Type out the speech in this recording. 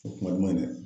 O kuma dɛ